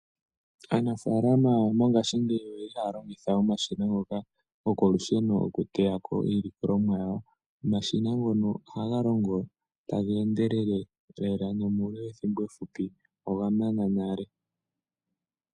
Aanafalama mongashi ngeyi oyeli halongitha omashina ngoka gokolusheno oku teyako iilikolomwa yawo omashina ngono oha galongo tagendelele lela nomule wethimbo efupi ogamana nale